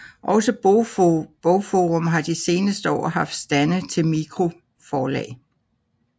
Også BogForum har de seneste år haft stande til mikroforlag